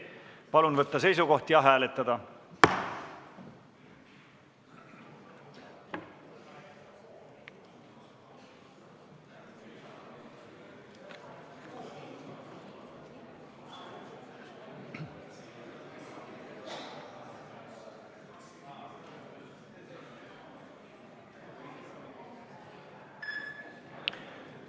Palun võtta seisukoht ja hääletada!